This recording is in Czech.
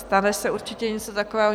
Stane se určitě něco takového.